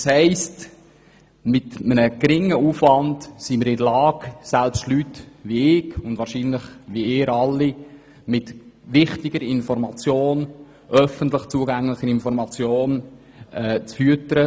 Das heisst, dass wir mit einem geringen Aufwand in der Lage sind, selbst Leute wie mich – und wahrscheinlich Sie alle – mit wichtiger, öffentlich zugänglicher Information zu füttern.